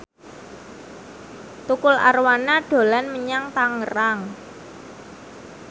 Tukul Arwana dolan menyang Tangerang